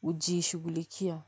hujiishughulikia.